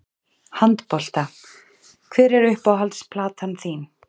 Handbolta Hver er uppáhalds platan þín?